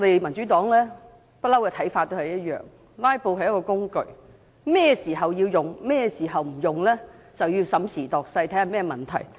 民主黨對"拉布"的看法一直沒有改變："拉布"是一種手段，甚麼時候需要使用或不應使用，必須審時度勢，視乎出現甚麼問題。